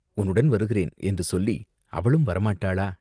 "உன்னுடன் வருகிறேன்" என்று சொல்லி, அவளும் வரமாட்டாளா?